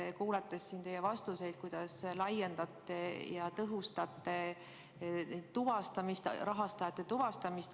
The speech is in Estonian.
Olen kuulanud siin teie vastuseid, aga kuidas te tõhustate rahastajate tuvastamist?